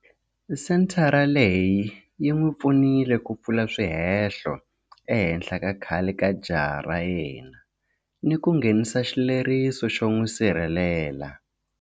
Senthara leyi yi n'wi pfunile ku pfula swihehlo ehenhla ka khale ka jaha ra yena ni ku nghenisa xileriso xo n'wi sirhelela.